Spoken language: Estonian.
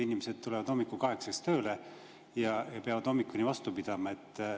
Inimesed tulevad hommikul kaheksaks tööle ja peavad hommikuni vastu pidama.